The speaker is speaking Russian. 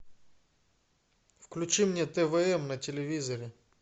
включи мне твм на телевизоре